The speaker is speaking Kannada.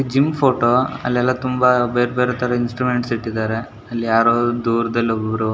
ಈ ಜಿಮ್ ಫೋಟೋ ಅಲ್ಲೆಲ್ಲ ತುಂಬಾ ಬೇರೆ ಬೇರೆ ತರ ಇನ್ಸ್ಟ್ರುಮೆಂಟ್ ಇಟ್ಟಿದ್ದಾರೆ ಅಲ್ ಯಾರೋ ದೂರದಲ್ಲಿ ಒಬ್ರು --